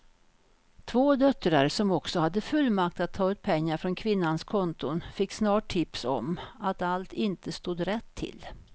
Två döttrar som också hade fullmakt att ta ut pengar från kvinnans konton fick snart tips om att allt inte stod rätt till.